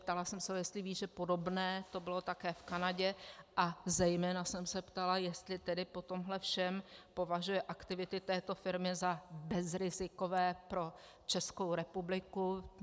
Ptala jsem se, jestli ví, že podobné to bylo také v Kanadě, a zejména jsem se ptala, jestli tedy po tomhle všem považuje aktivity této firmy za bezrizikové pro Českou republiku.